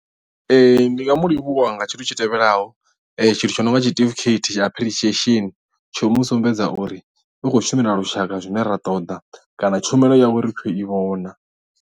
ndi nga mu livhuwa nga tshithu tshi tevhelaho tshithu tsho no nga tshiṱifikheithi tsha apirushiesheni tsho u mu sumbedza uri u khou shumela lushaka zwine ra ṱoḓa kana tshumelo yawe ri khou i vhona.